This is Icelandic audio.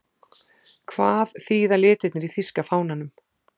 Hvað þýða litirnir í þýska fánanum?